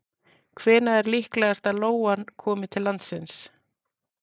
Hvenær er líklegast að lóan komi til landsins?